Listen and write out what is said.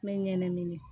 N bɛ ɲɛnɛmini